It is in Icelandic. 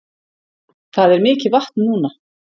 Það er mikið vatn núna